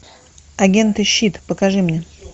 агенты щит покажи мне